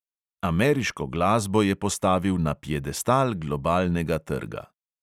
Ameriško glasbo je postavil na piedestal globalnega trga.